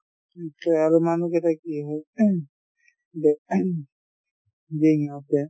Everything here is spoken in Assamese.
আৰু মানুহ কেইটাৰ কি হয়